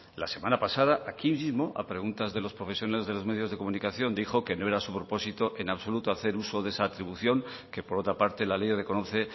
la semana pasada aquí mismo a preguntas de los profesionales de los medios de comunicación dijo que no era su propósito en absoluto hacer uso de esa atribución que por otra parte la ley reconoce